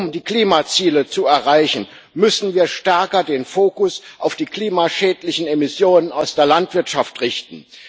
Um die Klimaziele zu erreichen, müssen wir den Fokus stärker auf die klimaschädlichen Emissionen aus der Landwirtschaft richten.